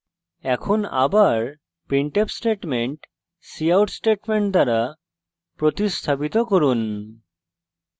এখন আবার printf statement cout statement দ্বারা প্রতিস্থাপিত করুন